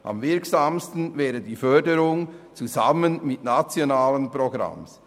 Am wirksamsten wäre die Förderung zusammen mit nationalen Programmen.